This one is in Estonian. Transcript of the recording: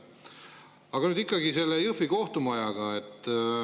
Aga nüüd ikkagi sellest Jõhvi kohtumajast.